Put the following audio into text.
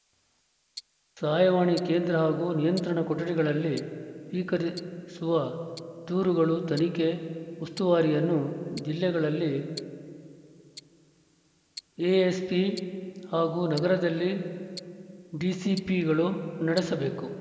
ಸಹಾಯವಾಣಿ ಕೇಂದ್ರ ಹಾಗೂ ನಿಯಂತ್ರಣ ಕೊಠಡಿಗಳಲ್ಲಿ ಸ್ವೀಕರಿಸುವ ದೂರುಗಳ ತನಿಖೆ ಉಸ್ತುವಾರಿಯನ್ನು ಜಿಲ್ಲೆಗಳಲ್ಲಿ ಎಎಸ್ಪಿ ಹಾಗೂ ನಗರದಲ್ಲಿ ಡಿಸಿಪಿಗಳು ನಡೆಸಬೇಕು